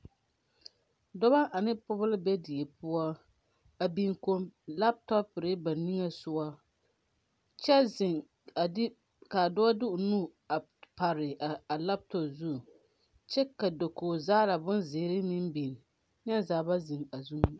Dɔbɔ ane pɔgebɔ la be die poɔ a biŋ kompio laptɔpɔre ba nige sɔgɔ kyɛ ziŋ ka dɔɔ de o nu a pare a laptɔp zu kyɛ ka dakoge zaŋla bonzeere meŋ biŋ neɛ zaa ba ziŋ a zuŋ.